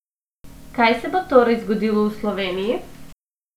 Kaj se bo torej zgodilo v Sloveniji?